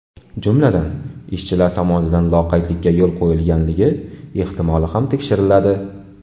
Jumladan, ishchilar tomonidan loqaydlikka yo‘l qo‘yilganligi ehtimoli ham tekshiriladi.